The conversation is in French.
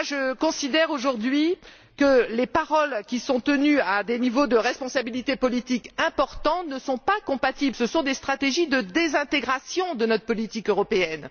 Je considère, aujourd'hui, que les paroles qui sont tenues à des niveaux de responsabilité politique importants ne sont pas compatibles, ce sont des stratégies de désintégration de notre politique européenne.